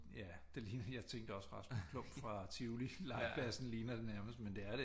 Ja det lignede jeg tænkte også Rasmus Klump fra Tivoli legepladsen ligner det nærmest med det er det